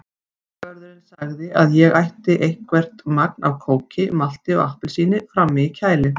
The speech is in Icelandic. Fangavörðurinn sagði að ég ætti eitthvert magn af kóki, malti og appelsíni frammi í kæli.